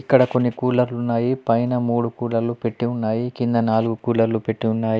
ఇక్కడ కొన్ని కూలర్లు ఉన్నాయి పైన మూడు కూలర్లు పెట్టి ఉన్నాయి కింద నాలుగు కూలర్లు పెట్టి ఉన్నాయి.